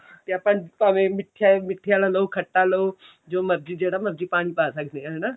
ਤੇ ਆਪਾਂ ਭਾਵੇਂ ਮਿੱਠੇ ਆਲੇ ਮਿੱਠੇ ਆਲਾ ਲਓ ਖੱਟਾ ਲਓ ਜੋ ਮਰਜ਼ੀ ਜਿਹੜਾ ਮਰਜ਼ੀ ਪਾਣੀ ਪਾ ਸਕਦੇ ਆਂ ਹਨਾ